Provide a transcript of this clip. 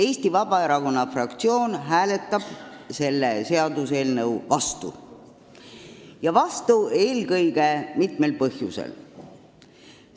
Eesti Vabaerakonna fraktsioon hääletab selle seaduseelnõu vastu ja seda mitmel põhjusel.